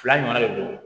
Fila ɲɔgɔnna de don